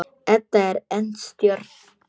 Edda er enn stjörf.